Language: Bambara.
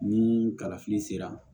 Ni kalafili sera